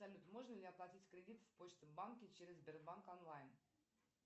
салют можно ли оплатить кредит в почта банке через сбербанк онлайн